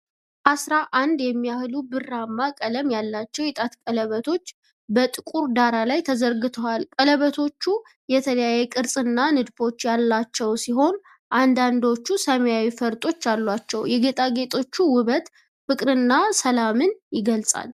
አሥራ አንድ የሚያህሉ ብርማ ቀለም ያላቸው የጣት ቀለበቶች በጥቁር ዳራ ላይ ተዘርግተዋል። ቀለበቶቹ የተለያዩ ቅርጾችና ንድፎች ያላቸው ሲሆን፣ አንዳንዶቹ ሰማያዊ ፈርጦች አሏቸው። የጌጣጌጦቹ ውበት ፍቅርን እና ሰላምን ይገልፃል።